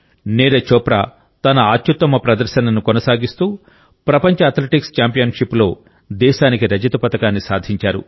నీరజ్ చోప్రా తన అత్యుత్తమ ప్రదర్శనను కొనసాగిస్తూ ప్రపంచ అథ్లెటిక్స్ ఛాంపియన్షిప్లో దేశానికి రజత పతకాన్ని సాధించారు